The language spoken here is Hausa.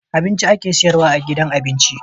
Abinci ake siyarwa a gidan abinci